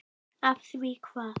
Af því hvað?